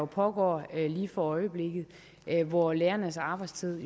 pågår lige for øjeblikket hvor lærernes arbejdstid